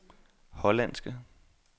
hollandske